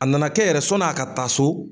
A na na kɛ yɛrɛ sɔnni a ka taa so